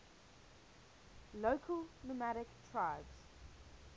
local nomadic tribes